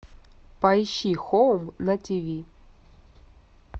поищи хоум на тв